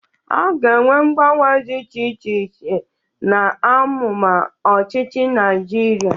A ga-enwe mgbanwe dị iche iche n'amụma ọchịchị Naịjirịa.